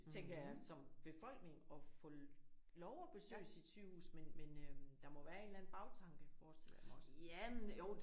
Tænker jeg som befolkning at få lov at besøge sit sygehus men men øh der må være en eller anden bagtanke forestiller jeg mig også